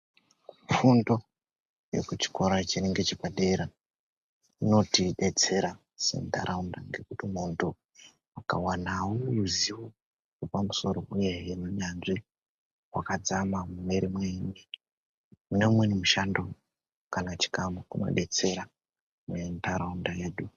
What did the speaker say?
Fundo yekuchikora chiri ngechepadera inotidetsera sentaraunda ngekuti muntu akawanawo ruzivo rwepamusoro uyezve unyanzvi hwakadzama mune umweni mushando kana chikamu kunodetsera muntaraunda yedu.